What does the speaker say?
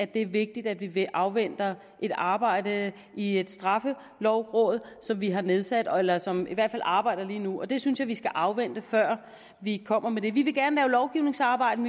det er vigtigt at vi afventer et arbejde i et straffelovråd som vi har nedsat eller som i hvert fald arbejder lige nu det synes jeg vi skal afvente før vi kommer med mere vi vil gerne lave lovgivningsarbejde